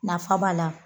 Nafa b'a la